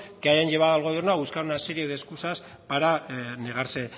que hayan llevado al gobierno a buscar una serie de escusas para negarse